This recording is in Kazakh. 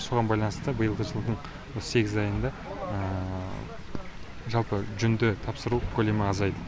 соған байланысты биылғы жылдың осы сегіз айында жалпы жүнді тапсыру көлемі азайды